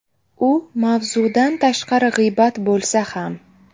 U mavzudan tashqari g‘iybat bo‘lsa ham.